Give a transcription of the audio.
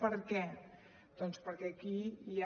per què doncs perquè aquí hi ha